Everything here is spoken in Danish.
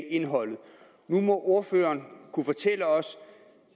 indholdet nu må ordføreren kunne fortælle os